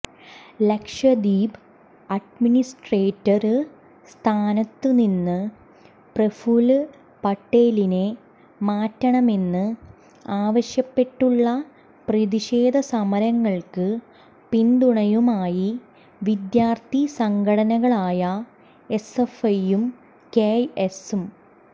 Lakshadweep administrator സ്ഥാനത്ത് നിന്ന് പ്രഫുല് പട്ടേലിനെ മാറ്റണമെന്ന് ആവശ്യപ്പെട്ടുള്ള പ്രതിഷേധസമരങ്ങള്ക്ക് പിന്തുണയുമായി വിദ്യാര്ഥി സംഘടനകളായ എസ്എഫ്ഐയും കെഎസ്